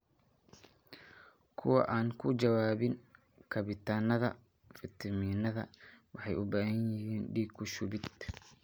Kuwa aan ka jawaabin kabitaannada fitamiinada waxay u baahan yihiin dhiig ku shubid.